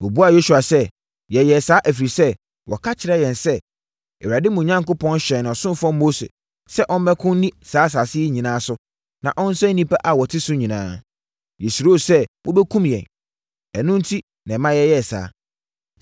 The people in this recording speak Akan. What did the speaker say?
Wɔbuaa Yosua sɛ, “Yɛyɛɛ saa, ɛfiri sɛ, wɔka kyerɛɛ yɛn sɛ, Awurade, mo Onyankopɔn hyɛɛ ne ɔsomfoɔ Mose sɛ ɔmmɛko nni saa asase yi nyinaa so na ɔnsɛe nnipa a wɔte so nyinaa. Yɛsuroo sɛ mobɛkum yɛn. Ɛno enti na ɛma yɛyɛɛ saa.